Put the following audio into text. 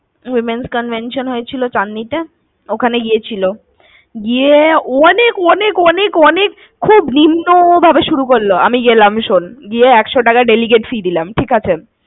Womens convention হয়েছিল চাদঁনীতে ওখানে গিয়েছিলো গিয়ে অনেক অনেক অনেক অনেক খুব নিম্ন ভাবে শুরু করলো। আমি গেলাম, শোন গিয়ে একশো টাকা delegate fee দিলাম, ঠিক আছে?